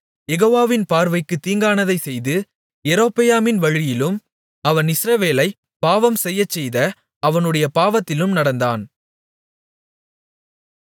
யெகோவாவின் பார்வைக்குத் தீங்கானதைச் செய்து யெரொபெயாமின் வழியிலும் அவன் இஸ்ரவேலைப் பாவம்செய்யச்செய்த அவனுடைய பாவத்திலும் நடந்தான்